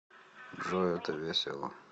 джой это весело